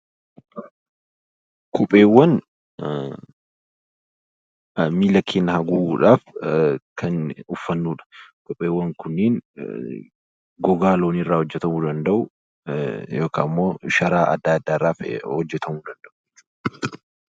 Kopheewwan miila keenya haguuguudhaaf kan uffannudha. Kopheewwan kunniin gogaa loonii irraa , sharaa adda addaa irraa hojjatamuu danda'u.